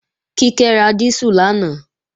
Kíkẹ́ ra dísù lánàá